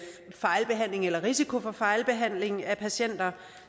fejlbehandling eller risiko for fejlbehandling af patienter